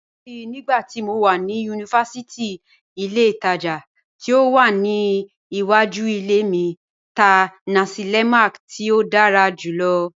Mó rántí nígbàtí mó wà ni yunífásítì, ìlẹ̀ ìtaja tí ó wà níwàjú ìlẹ̀ mi tá nasi lemak tí ó dára júlọ̀.